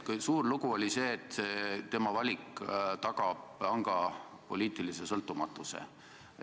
Suur jutt oli see, et tema valik tagab panga poliitilise sõltumatuse.